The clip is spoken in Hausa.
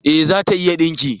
Eh, ta iya dinki